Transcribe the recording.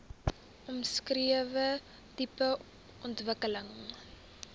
omskrewe tipe ontwikkeling